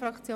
Seit